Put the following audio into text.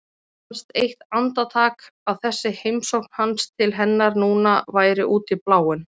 Fannst eitt andartak að þessi heimsókn hans til hennar núna væri út í bláinn.